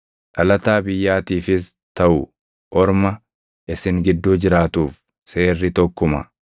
Dhalataa biyyaatiifis taʼu orma isin gidduu jiraatuuf seerri tokkuma.”